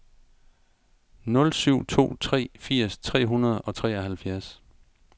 nul syv to tre firs tre hundrede og treoghalvfjerds